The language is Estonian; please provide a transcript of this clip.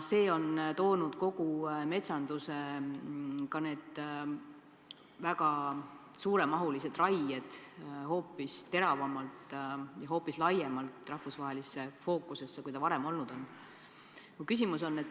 See on toonud kogu metsanduse, ka need väga suuremahulised raied varasemast hoopis teravamalt ja laiemalt rahvusvahelisse fookusesse.